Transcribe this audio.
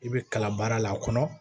I bɛ kala baara la a kɔnɔ